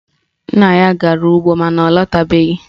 Nna ya gara ugbo mana ọ latabeghi